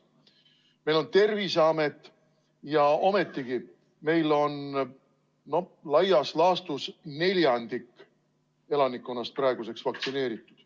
Meil on Terviseamet ja ometigi meil on laias laastus vaid neljandik elanikkonnast praeguseks vaktsineeritud.